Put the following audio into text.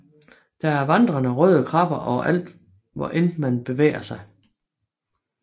Der er vandrende røde krabber overalt hvor end man bevæger sig